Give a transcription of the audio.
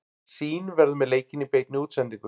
Sýn verður með leikinn í beinni útsendingu.